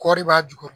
Kɔɔri b'a jukɔrɔ